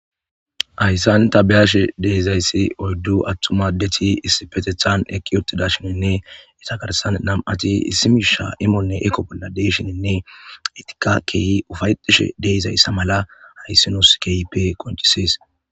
ayssan tabiyashe deizayssi oyddu attuma deti issipetethan eqqi yotida shininne itakarsan nam7ati issi miisha imolnne eko bolla deyshininne etika keehi ufayetishe deizayssa mala hayssinos kehipe qonchisis